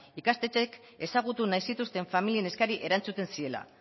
ikastetxeek ezagutu nahi zituzten familien eskariei erantzuten ziela